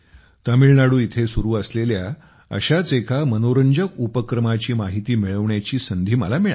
तामिळनाडू येथे सुरु असलेल्या अशाच एका मनोरंजक उपक्रमाची माहिती मिळविण्याची संधी मला मिळाली